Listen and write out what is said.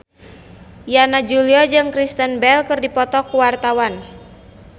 Yana Julio jeung Kristen Bell keur dipoto ku wartawan